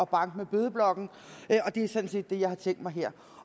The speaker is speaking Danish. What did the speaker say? banke med bødeblokken og det er sådan set det jeg har tænkt mig her